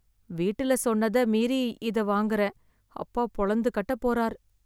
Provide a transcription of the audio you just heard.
வீட்டுல சொன்னத மீறி இத வாங்குறேன். அப்பா பொளந்து கட்டப்போறார்.